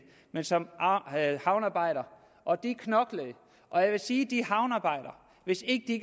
men som havnearbejder og vi knoklede jeg vil sige at hvis ikke de